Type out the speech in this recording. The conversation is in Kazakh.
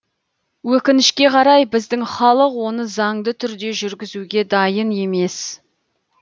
өкінішке қарай біздің халық оны заңды түрде жүргізуге дайын емес